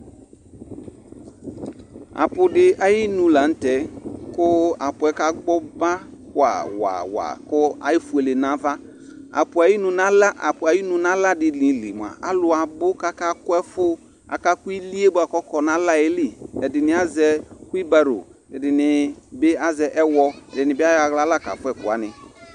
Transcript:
aƒu di ayi nu lantɛ kò aƒu yɛ ka gbɔ ba wa wa wa kò efuele n'ava aƒu ayi nu n'ala aƒu ayinu n'ala di li moa alò abò k'aka kò ɛfu aka kò ili yɛ boa k'ɔkɔ n'ala yɛ li ɛdini azɛ whibaro ɛdini bi azɛ ɛwɔ ɛdini bi ayɔ ala la ka fua ɛkò wani